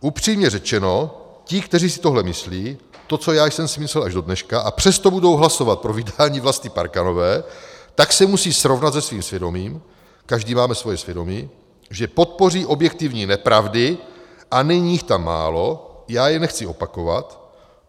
"Upřímně řečeno ti, kteří si tohle myslí, to, co já jsem si myslel až do dneška, a přesto budou hlasovat pro vydání Vlasty Parkanové, tak se musí srovnat se svým svědomím - každý máme svoje svědomí - že podpoří objektivní nepravdy, a není jich tam málo, já je nechci opakovat.